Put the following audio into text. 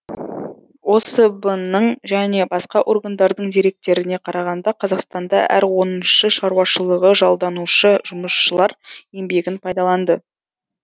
осб ның және басқа органдардың деректеріне қарағанда қазақстанда әр оныншы шаруашылығы жалданушы жұмысшылар еңбегін пайдаланды